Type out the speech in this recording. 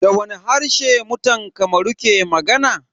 Da wani harshe mutan Kamaru ke magana?